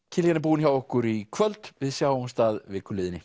Kiljan er búin hjá okkur í kvöld við sjáumst að viku liðinni